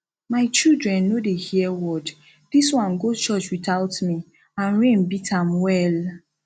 my children no dey hear word dis one go church without me and rain beat am well